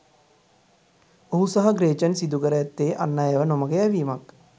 ඔහු සහ ග්‍රේචන් සිදු කර ඇත්තේ අන් අයව නොමග යැවීමක්.